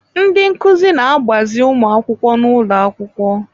Ndị nkuzi na-agbazi ụmụ akwụkwọ n'ụlọ akwụkwọ.